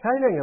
ထိုင်း နှစ်နိုင်ငံ